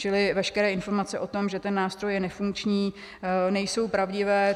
Čili veškeré informace o tom, že ten nástroj je nefunkční, nejsou pravdivé.